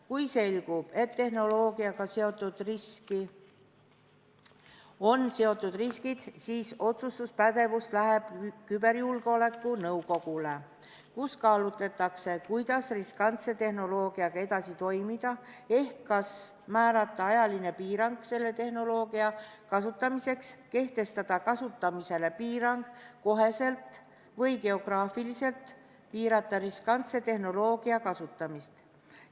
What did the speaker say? Kui selgub, et tehnoloogiaga on seotud riskid, siis läheb otsustuspädevus küberjulgeoleku nõukogule, kus kaalutletakse, kuidas riskantse tehnoloogiaga edasi toimida ehk kas määrata selle tehnoloogia kasutamiseks ajaline piirang, kehtestada kasutamisele piirang kohe või piirata geograafiliselt riskantse tehnoloogia kasutamist.